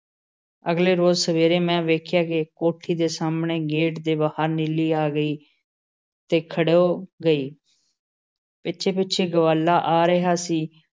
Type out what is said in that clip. ਅਗਲੇ ਰੋਜ਼ ਸਵੇਰੇ ਮੈਂ ਵੇਖਿਆ ਕਿ ਕੋਠੀ ਦੇ ਸਾਹਮਣੇ ਗੇਟ ਦੇ ਬਾਹਰ ਨੀਲੀ ਆ ਗਈ ਅਤੇ ਖੜੋ ਗਈ। ਪਿੱਛੇ-ਪਿੱਛੇ ਗਵਾਲਾ ਆ ਰਿਹਾ ਸੀ ।